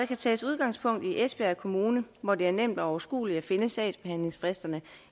kan tages udgangspunkt i esbjerg kommune hvor det er nemt og overskueligt at finde sagsbehandlingsfristerne